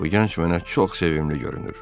Bu gənc mənə çox sevimli görünür.